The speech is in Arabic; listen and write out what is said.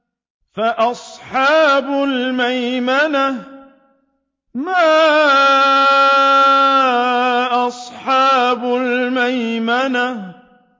فَأَصْحَابُ الْمَيْمَنَةِ مَا أَصْحَابُ الْمَيْمَنَةِ